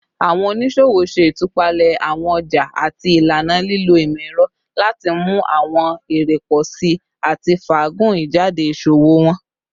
Awọn oniṣowo ṣe itupalẹ awọn ọja ati ilana, lilo imọ-ẹrọ lati mu awọn ere pọ si ati faagun ijade iṣowo wọn